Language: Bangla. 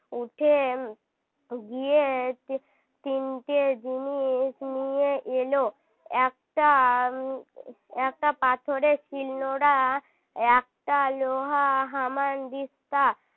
উঠে গিয়ে তিনটে জিনিস নিয়ে এলো একটা একটা পাথরের শিলনোড়া একটা লোহা হামানদিস্তা